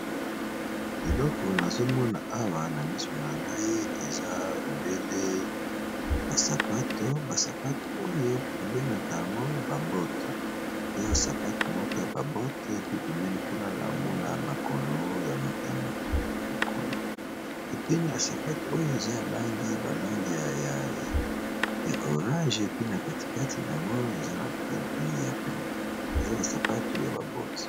Eloko nazomona awa na miso na ngai eza obele basapato basapato oyo babengaka yango babote eza basapato moko ya babote pe pebeni kuna na mona makolo ya moto mokolo epui na sapato oyo eza langi balangi ya orange epui na katikati na yango pe eza basapatu ya babote.